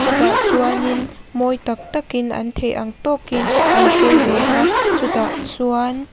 chutah chuanin mawi tak takin an theih ang tawkin an chei ve a chutah chuan --